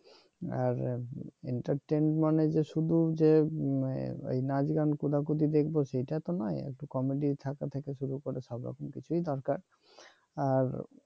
আর entertain মানে শুধু যে নাচ গান কোদাকুদি দেখব সেটা তো নয় একটু কমেডি শুরু করে সব রকম কিছুই দরকার আর